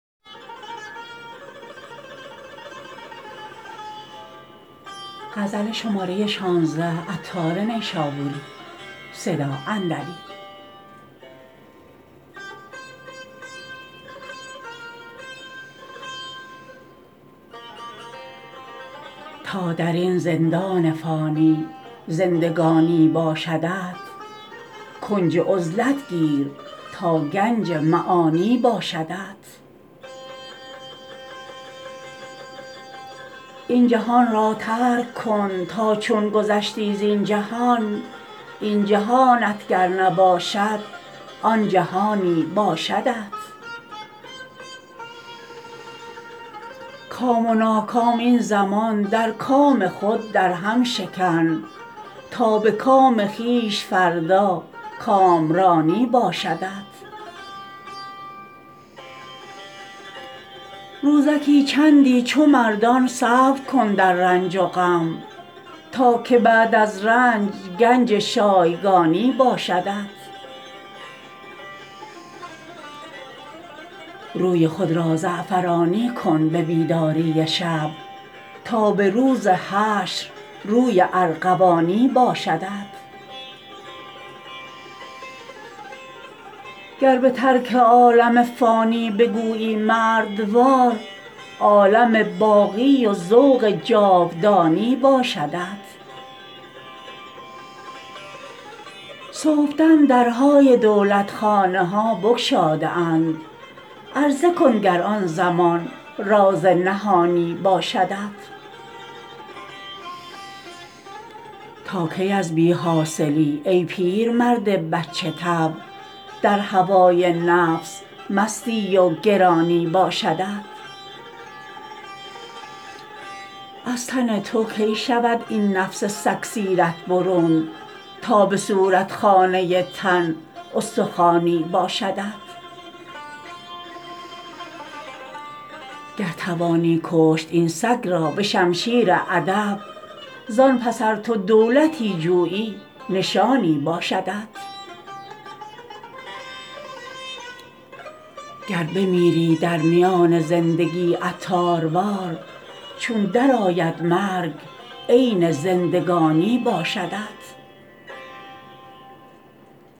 تا درین زندان فانی زندگانی باشدت کنج عزلت گیر تا گنج معانی باشدت این جهان را ترک کن تا چون گذشتی زین جهان این جهانت گر نباشد آن جهانی باشدت کام و ناکام این زمان در کام خود درهم شکن تا به کام خویش فردا کامرانی باشدت روزکی چندی چو مردان صبر کن در رنج و غم تا که بعداز رنج گنج شایگانی باشدت روی خود را زعفرانی کن به بیداری شب تا به روز حشر روی ارغوانی باشدت گر به ترک عالم فانی بگویی مردوار عالم باقی و ذوق جاودانی باشدت صبحدم درهای دولتخانه ها بگشاده اند عرضه کن گر آن زمان راز نهانی باشدت تا کی از بی حاصلی ای پیرمرد بچه طبع در هوای نفس مستی و گرانی باشدت از تن تو کی شود این نفس سگ سیرت برون تا به صورت خانه تن استخوانی باشدت گر توانی کشت این سگ را به شمشیر ادب زان پس ار تو دولتی جویی نشانی باشدت گر بمیری در میان زندگی عطاروار چون درآید مرگ عین زندگانی باشدت